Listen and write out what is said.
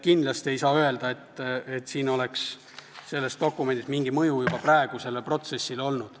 Kindlasti ei saa öelda, et sellel dokumendil oleks juba praegu mingi mõju sellele protsessile olnud.